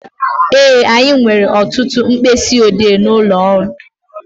Ee, anyị nwere ọtụtụ mkpịsị odee n'ụlọ ọrụ